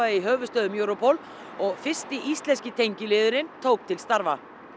í höfuðstöðvum Europol og fyrsti íslenski tengiliðurinn tók til starfa